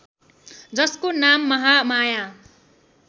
जसको नाम महामाया